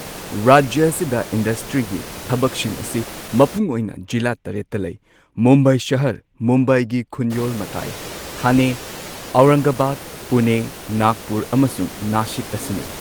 ꯔꯥꯖ꯭ꯌ ꯑꯁꯤꯗ ꯏꯟꯗꯁꯇ꯭ꯔꯤꯒꯤ ꯊꯕꯛꯁꯤꯡ ꯑꯁꯤ ꯃꯄꯨꯡ ꯑꯣꯏꯅ ꯖꯤꯂꯥ ꯇꯔꯦꯠꯇ ꯂꯩ ꯃꯨꯝꯕꯥꯏ ꯁꯍꯔ, ꯃꯨꯝꯕꯥꯏꯒꯤ ꯈꯨꯟꯌꯣꯜ ꯃꯇꯥꯏ, ꯊꯥꯅꯦ, ꯑꯧꯔꯪꯒꯕꯥꯗ, ꯄꯨꯅꯦ, ꯅꯥꯒꯄꯨꯔ ꯑꯃꯁꯨꯡ ꯅꯥꯁꯤꯛ ꯑꯁꯤꯅꯤ꯫